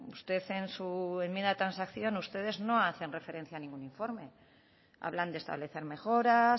usted en su enmienda de transacción ustedes no hacen referencia a ningún informe hablan de establecer mejoras